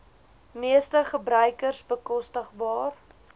meeste gebruikers bekostigbaar